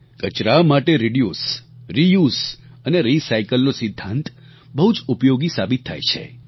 કચરા માટે reduce reuse અને રીસાયકલ નો સિદ્ધાંત બહુ જ ઉપયોગી સાબિત થાય છે